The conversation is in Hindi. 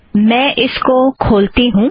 मैं इसको खोलती हूँ